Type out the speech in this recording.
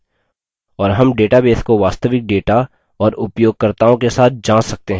और हम database को वास्तविक data औए उपयोगकर्ताओं के साथ जाँच सकते हैं